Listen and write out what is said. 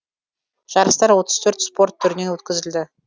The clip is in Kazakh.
жарыстар отыз төрт спорт түрінен өткізілді